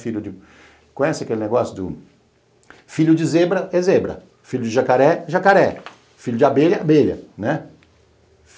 Conhece aquele negócio do filho de zebra é zebra, filho de jacaré é jacaré, filho de abelha é abelha, né?